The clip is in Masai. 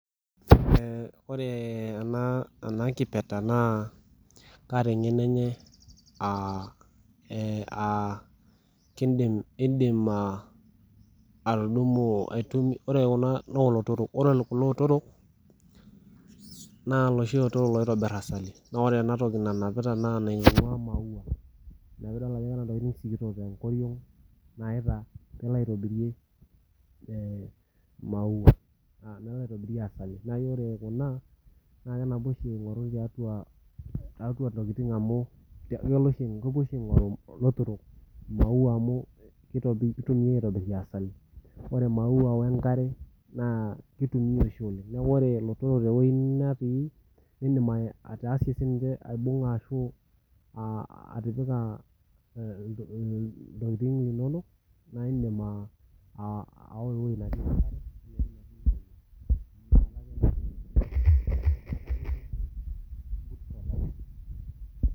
Ore enaa kipirta naa kataa eng'eno enye aa ore Kuna na lootorok eloshi oitobirita asali naa ore ena toki nanapita naa enaingua maua ena pee edol Ajo keeta ntokitin sikitok tenkoriog nalo aitobirie asali naa ore Kuna kenapita ashu aing'oru tiatua ntokitin amu kepuo oshi elotorok aing'oru maua amu kitumia aitobirie asali ore maua wee nkare naa kitumia oshi oleng neeku ore elotorok tewueji netii edim atasie aibung'a ashu atipika ewuejitin enonok naa edim awa ewueji netii enkare